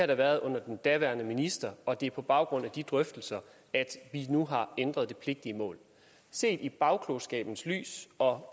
der været under den daværende minister og det er på baggrund af de drøftelser at vi nu har ændret det pligtige mål set i bagklogskabens lys og